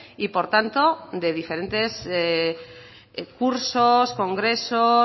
y por tanto de diferentes cursos congresos